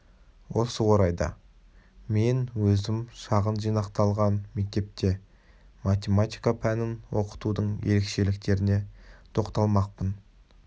осы орайда мен өзім шағын жинақталған мектепте математика пәнін оқытудың ерекшеліктеріне тоқталмақпын